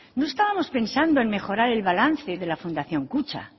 no estábamos pensando en mejorar el balance de la fundación kutxa